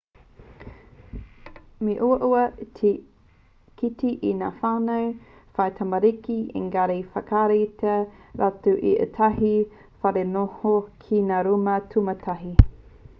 me uaua te kite i ngā whānau whai tamariki engari ka whakaaetia rātou e ētahi wharenoho ki ngā rūma tūmataiti